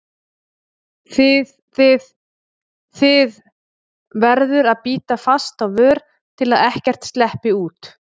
þið þið, þið- verður að bíta fast á vör til að ekkert sleppi út.